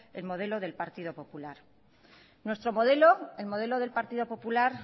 el modelo del partido popular nuestro modelo el modelo del partido popular